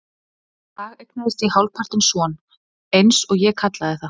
Þennan dag eignaðist ég hálfpartinn son, eins og ég kallaði það.